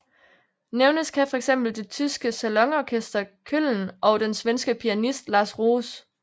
Nævnes kan fx det tyske Salonorchester Cölln og den svenske pianist Lars Roos